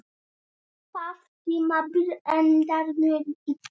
Það tímabil endaði mjög illa.